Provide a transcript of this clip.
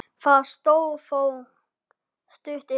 Það stóð þó stutt yfir.